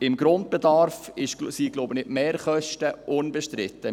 Im Grundbedarf sind, glaube ich, die Mehrkosten unbestritten.